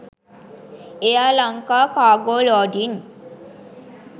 air lanka cargo loding